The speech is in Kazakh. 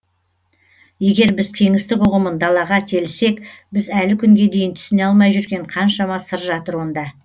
егер біз кеңістік ұғымын далаға телісек біз әлі күнге дейін түсіне алмай жүрген қаншама сыр жатыр онда